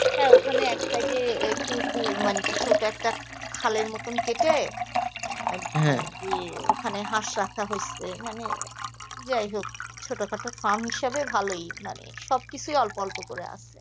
হ্যাঁ ওখানে এক side এ একটুকু মানে ছোট একটা খালের মত কেটে ওখানে হাঁস রাখা হয়েছে মানে যাই হোক ছোট্ট খাটো farm হিসাবে ভালই মানে সব কিছুই অল্প অল্প করে আছে